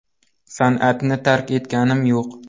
San’atni tark etganim yo‘q.